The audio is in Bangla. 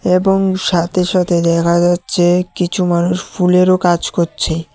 এবং সাথে সাথে দেখা যাচ্ছে কিছু মানুষ ফুলেরও কাজ করছে।